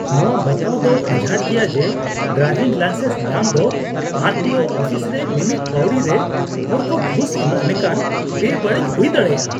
ᱱᱚᱶᱟ ᱵᱟᱛᱟᱣ ᱫᱚ ᱟᱡᱷᱟᱴᱟ ᱜᱮᱭᱟ ᱡᱮ ᱰᱨᱟᱭᱵᱷᱤᱝ ᱞᱟᱭᱥᱮᱱᱥ ᱧᱟᱢ ᱫᱚ ᱟᱨ ᱴᱤ ᱳ ᱚᱯᱷᱤᱥ ᱨᱮ ᱢᱤᱢᱤᱫ ᱯᱟᱹᱣᱲᱤ ᱨᱮ ᱦᱚᱲ ᱠᱚ ᱜᱷᱩᱥ ᱮᱢᱚᱜ ᱞᱮᱠᱟᱱ ᱵᱮᱵᱟᱹᱲᱤᱡ ᱦᱩᱭ ᱫᱟᱲᱮᱭᱟᱜᱼᱟ ᱾